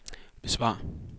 besvar